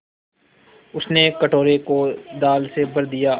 उसने कटोरे को दाल से भर दिया